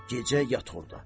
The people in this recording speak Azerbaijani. Gecə yat orda.